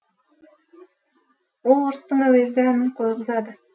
ол орыстың әуезді әнін қойғызады